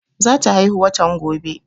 Za ta haihuw watan gobe